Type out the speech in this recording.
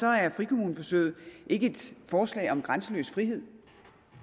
er frikommuneforsøget ikke et forslag om grænseløs frihed